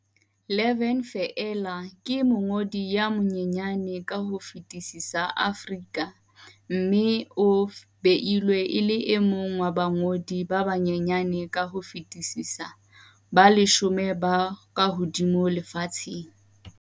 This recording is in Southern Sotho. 11 feela, ke mongodi ya monyenyane ka ho fetisisa Aforika mme o beilwe e le e mong wa bangodi ba banyenyane ka ho fetisisa ba leshome ba kahodimo lefatsheng.